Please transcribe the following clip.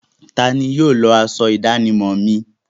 Tani yóò lọ aṣọ ìdánimọ̀ mi?